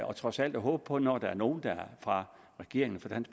og trods alt håbe på at når der er nogle fra regeringen